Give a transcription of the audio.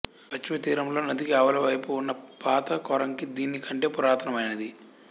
పశ్చిమ తీరములో నదికి ఆవలివైపు ఉన్న పాత కోరంగి దీనికంటే పురాతనమైనది